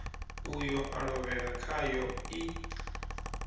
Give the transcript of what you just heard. uyo a lovhela khaḽo i